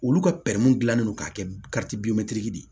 Olu ka dilannen don ka kɛ de ye